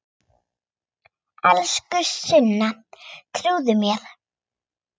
Elsku Sunna, trúðu mér!